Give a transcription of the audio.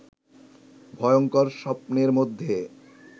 ভয়ংকর স্বপ্নের মধ্যে